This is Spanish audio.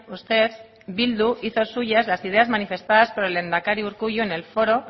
usted bildu hizo suyas las ideas manifestadas por el lehendakari urkullu en el foro